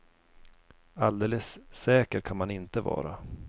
Alldeles säker kan man inte vara.